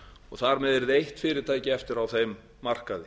og þar með yrði eitt fyrirtæki eftir á þeim markaði